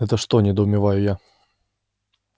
это что недоумеваю я